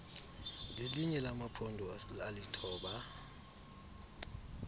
lelinye lamaphondo alithoba